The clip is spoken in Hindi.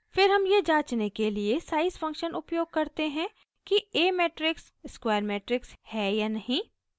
फिर हम यह जाँचने के लिए size फंक्शन उपयोग करते हैं कि a मेट्रिक्स स्क्वायर मेट्रिक्स है या नहीं